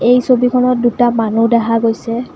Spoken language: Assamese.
এই ছবিখনত দুটা মানুহ দেখা গৈছে।